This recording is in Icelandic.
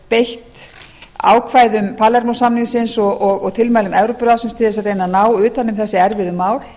beitt ákvæðum palermó samningsins og tilmælum evrópuráðsins til þess að reyna að ná utan um þessi erfiðu mál